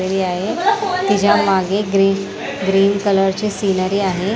घरी आहे तिच्यामागे ग्रीन ग्रीन कलर चे सिनरी आहे.